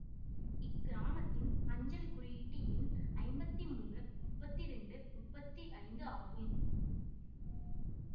இக்கிராமத்தின் அஞ்சல் குறியீட்டு எண் ஐம்பத்தி மூணு முப்பத்தி இரண்டு முப்பத்தி ஐந்து ஆகும்